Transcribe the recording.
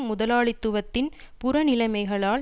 முதலாளித்துவத்தின் புற நிலைமைகளால்